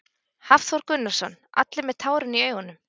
Hafþór Gunnarsson: Allir með tárin í augunum?